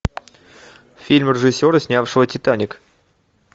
фильм режиссера снявшего титаник